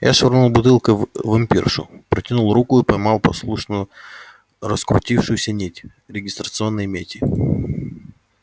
я швырнул бутылкой в вампиршу протянул руку и поймал послушно раскрутившуюся нить регистрационной мети